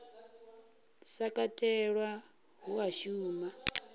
sa katelwa hu a shuma